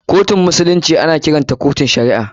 Kotun musulunci ana kiranta kotun shari'a.